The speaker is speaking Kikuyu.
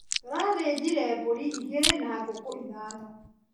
Tũrathĩnjire mbũri igĩrĩ na ngũkũ ithano.